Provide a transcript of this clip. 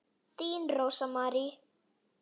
Þín Rósa Mary.